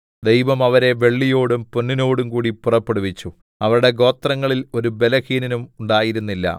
ദൈവം അവരെ വെള്ളിയോടും പൊന്നിനോടുംകൂടി പുറപ്പെടുവിച്ചു അവരുടെ ഗോത്രങ്ങളിൽ ഒരു ബലഹീനനും ഉണ്ടായിരുന്നില്ല